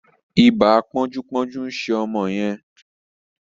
Iba ponju-ponju nṣe ọmọ yen.